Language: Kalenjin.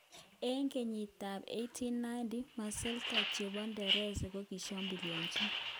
Engkiytik ap 1890,masetla chepo nereza kokishambuliachi.